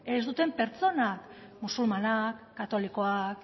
pertsonak musulmanak katolikoak